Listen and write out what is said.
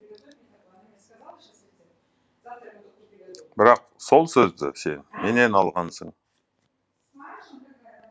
бірақ сол сөзді сен менен алғансың